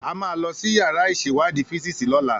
A máa lọ sí yàrá ìṣèwádìí físíìsì lọ́la